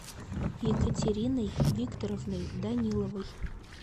екатериной викторовной даниловой